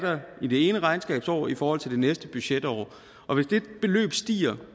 i det ene regnskabsår i forhold til det næste budgetår og hvis det beløb stiger